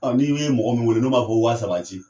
Ni we mɔgɔ min wele n'o m'a fɔ waa saba ci,